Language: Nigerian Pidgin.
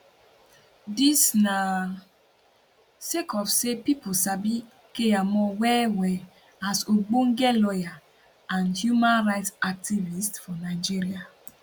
dis na sake of say pipo sabi keyamo wellwell as ogbonge lawyer and human right activist for nigeria